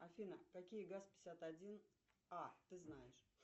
афина какие газ пятьдесят один а ты знаешь